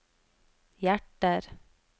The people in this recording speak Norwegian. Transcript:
hjerter